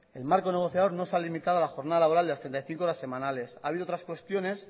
el marco negociador no se ha limitado a la jornada laboral de las treinta y cinco horas semanales ha habido otras cuestiones